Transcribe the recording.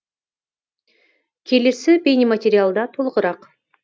келесі бейнематериалда толығырақ